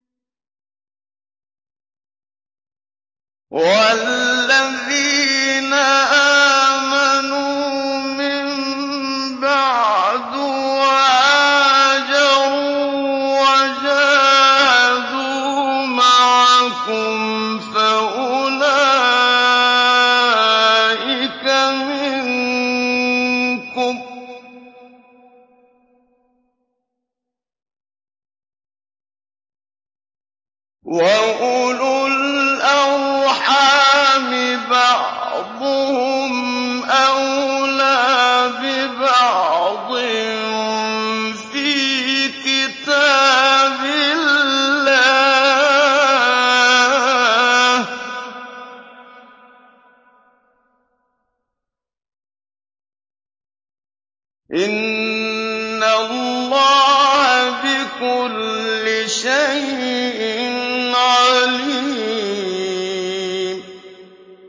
وَالَّذِينَ آمَنُوا مِن بَعْدُ وَهَاجَرُوا وَجَاهَدُوا مَعَكُمْ فَأُولَٰئِكَ مِنكُمْ ۚ وَأُولُو الْأَرْحَامِ بَعْضُهُمْ أَوْلَىٰ بِبَعْضٍ فِي كِتَابِ اللَّهِ ۗ إِنَّ اللَّهَ بِكُلِّ شَيْءٍ عَلِيمٌ